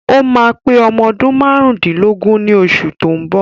Ó máa pé ọmọ ọdún márùndínlógún ní osù tó ń bọ̀